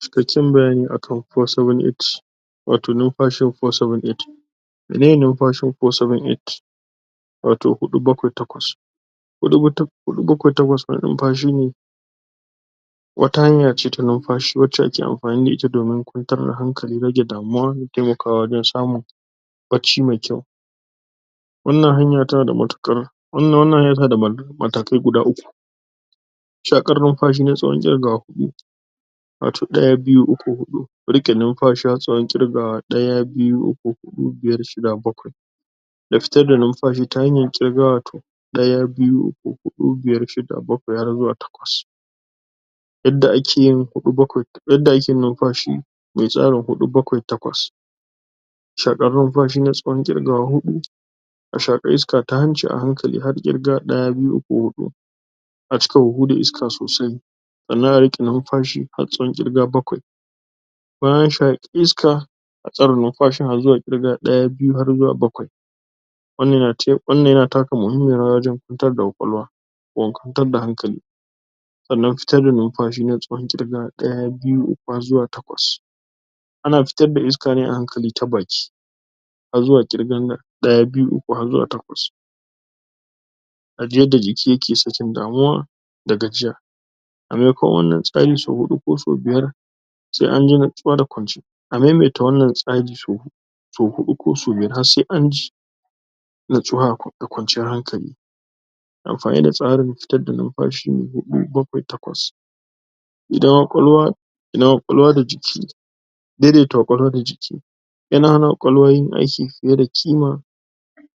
cikakken bayani akan four, seven, eight (478) wato numfashin four, seven, eight (478) miye numfashin four, seven, eight (478) wato huɗu, bakwai, takwas (478) huɗu, bakwai, takwas (478) wani numfashi ne wata hanya ce ta numfashi wacce ake amfani da ita domin kwantar da hankali, rage damuwa da temakawa wajen sa mun barci me kyau wannan hanya tana da matakai guda uku (3) shaƙar numfashi na tsawon ƙirgawa huɗu (4) wato ɗaya (1), biyu (2), uku (3), huɗu (4) riƙe numfashi har tsawon ƙirgawa ɗaya (1), biyu (2), uku (3), huɗu (4) biyar(5), shida (6), bakwai (7) ya fitar da numfashi ta hanyar ƙirga wato ɗaya (1), biyu (2), uku (3), huɗu (4) biyar(5), shida (6), bakwai (7) har zuwa takwas (8) yadda ake yin numfashi me tsarin huɗu (4), bakwai (7), takwas (8) shaƙar numfashi na tsawon ƙirgawa huɗu a shaƙi iska ta hanci a hankali har ƙirga ɗaya (1), biyu (2), uku (3), huɗu (4) a cika huhu da iska sosai sannan a riƙe numfashi har tsawon ƙirga bakwai bayan an shaƙi iska. a tsare numfashin har zuwa ƙirga ɗaya (1), biyu (2), har zuwa bakwai(7) sannan fitar da numfashi na tsawon ƙirga ɗaya (1), biyu (2), uku (3), har zuwa takwas (8) ana fitar da iska ne a hankali ta baki har zuwa ƙirgan ɗaya (1), biyu (2), uku (3), har zuwa takwas (8) a ji yadda jiki yake sakin damuwa da gajiya so huɗu (4) ko so biyar (5) a maimaita wannan tsari so huɗu (4) ko so biyar (5) har se an ji natsuwa da kwanciyar hankali amfani d tsarin fitar da numfashi huɗu (4), bakwai (7), takwas (8) ƙwaƙwalwa da jiki daidaita ƙwaƙwalwa da jiki yana hana ƙwaƙwalwa yin aiki fiye da ƙima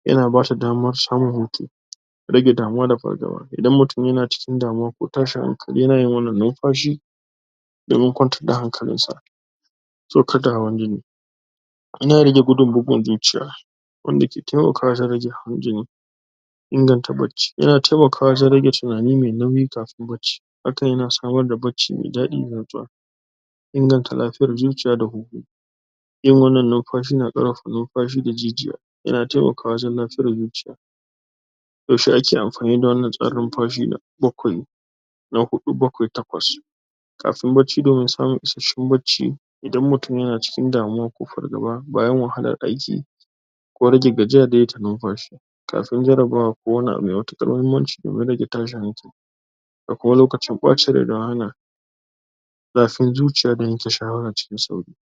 yana bata damar samun hutu rage damuwa da fargaba. idan mutum yana cikin damuwa ko tashin hankali yana yin wannan numfashi domin kwantar da hankalin sa saukar da hawan jini yana rage gudun bugun zuciya wanda ke temaka wajen rage hawan jini inganta barci yana temakawa wajen rage tunani me nauyi kafin barci hakan yana samar da barci me daɗi da natsuwa inganta lafiyar zuciya da hu-hu yin wannan numfashi yana ƙara da jijiya yana temakawa wajen natsar da zuciya yaushe aka amfani da wannan tsarin numfashi na bakwai na huɗu (4), bakwai (7), takwas (8) kafin barci domin samun isashshen barci idan mutum yana cikin damuwa ko fargaba bayan wahalar aiki ko rage gajiya da numfashi kafin jarabawa ko wani abu me matuƙar mahimmanci domin rage tashin hankali da kuma lokacin ɓacin rai dan hana zafin zuciya da yanke shawara cikin sauri.